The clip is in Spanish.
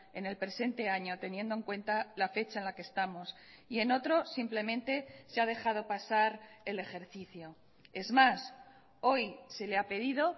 en el presente año teniendo en cuenta la fecha en la que estamos y en otro simplemente se ha dejado pasar el ejercicio es más hoy se le ha pedido